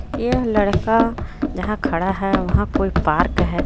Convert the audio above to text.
यह लड़का जहां खड़ा है वहां कोई पार्क है.